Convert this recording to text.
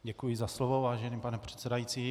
Děkuji za slovo, vážený pane předsedající.